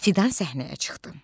Fidan səhnəyə çıxdı.